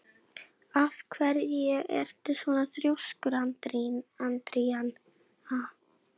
Af hverju ertu svona þrjóskur, Andríana?